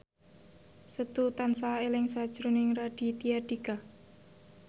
Setu tansah eling sakjroning Raditya Dika